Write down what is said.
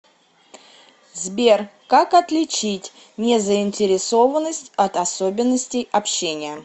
сбер как отличить незаинтересованность от особенностей общения